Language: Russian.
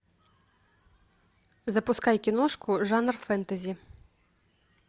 запускай киношку жанр фэнтези